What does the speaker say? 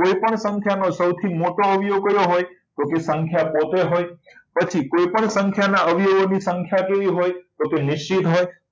કોઈપણ સંખ્યાનો સૌથી મોટો અવયવ કયો હોય તો કે સંખ્યા પોતે હોય પછી કોઈપણ સંખ્યાઓના અવયવો ની સંખ્યા કેવી હોય તો કે નિશ્ચિત હોય